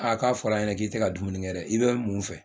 Aa k'a fɔra an ɲɛna k'i tɛ ka dumuni kɛ dɛ i bɛ mun fɛ